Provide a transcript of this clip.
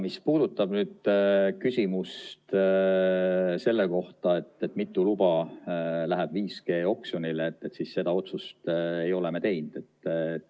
Mis puudutab küsimust selle kohta, mitu luba läheb 5G-oksjonile, siis seda otsust ei ole me teinud.